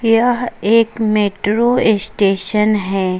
यह एक metro station है।